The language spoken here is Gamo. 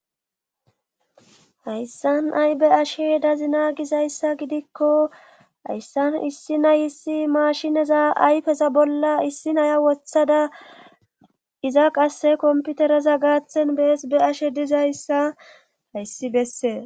Hayssan ay be7ashe dazina gizayssa gidikko hayssan issi nayssi maashineza ayfeza bolla issi nayiya wothada iza qasse komppiterza gaathan bes be7ashe dizayssa hayssi bessee